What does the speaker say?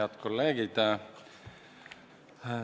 Head kolleegid!